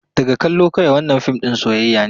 Daga kallo kawai, wannan fim ɗin soyayya ne.